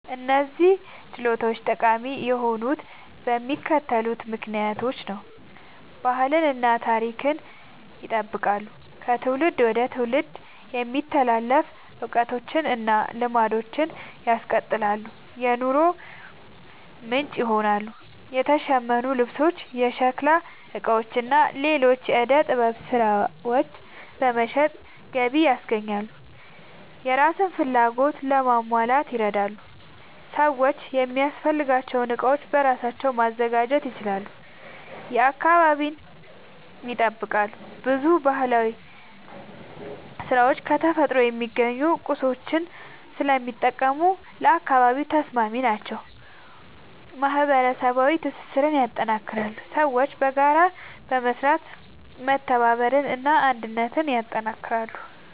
እነዚህ ችሎታዎች ጠቃሚ የሆኑት በሚከተሉት ምክንያቶች ነው፦ ባህልን እና ታሪክን ይጠብቃሉ – ከትውልድ ወደ ትውልድ የሚተላለፉ እውቀቶችን እና ልማዶችን ያስቀጥላሉ። የኑሮ ምንጭ ይሆናሉ – የተሸመኑ ልብሶች፣ የሸክላ ዕቃዎች እና ሌሎች የዕደ ጥበብ ሥራዎች በመሸጥ ገቢ ያስገኛሉ። የራስን ፍላጎት ለማሟላት ይረዳሉ – ሰዎች የሚያስፈልጋቸውን ዕቃዎች በራሳቸው ማዘጋጀት ይችላሉ። አካባቢን ይጠብቃሉ – ብዙ ባህላዊ ሥራዎች ከተፈጥሮ የሚገኙ ቁሳቁሶችን ስለሚጠቀሙ ለአካባቢ ተስማሚ ናቸው። ማህበረሰባዊ ትስስርን ያጠናክራሉ – ሰዎች በጋራ በመስራት መተባበርን እና አንድነትን ያጠናክራሉ።